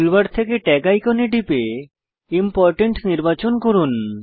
toolbar থেকে tag আইকনে টিপে ইম্পোর্টেন্ট নির্বাচন করুন